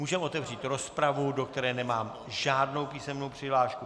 Můžeme otevřít rozpravu, do které nemám žádnou písemnou přihlášku.